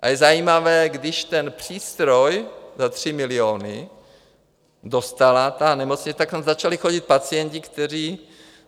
A je zajímavé, když ten přístroj za tři miliony dostala ta nemocnice, tak tam začali chodit pacienti, kteří...